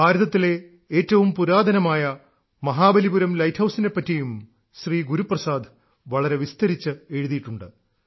ഭാരതത്തിലെ ഏറ്റവും പുരാതനമായ മഹാബലിപുരം ലൈറ്റ് ഹൌസിനെ പറ്റിയും ശ്രീ ഗുരുപ്രസാദ് വളരെ വിസ്തരിച്ചു എഴുതിയിട്ടുണ്ട്